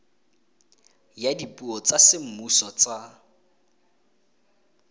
ya dipuo tsa semmuso tsa